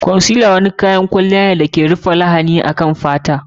Concealer ko mai gyara launi nau'in kayan kwalliya ne da ake amfani da shi don rufe lahani akan fata.